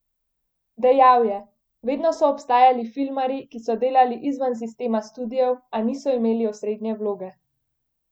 Dejal je: 'Vedno so obstajali filmarji, ki so delali izven sistema studiev, a niso imeli osrednje vloge.